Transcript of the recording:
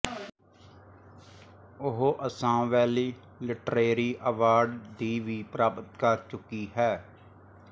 ਉਹ Assam Valley Literary Award ਦੀ ਵੀ ਪ੍ਰਾਪਤ ਕਰ ਚੁੱਕੀ ਹੈ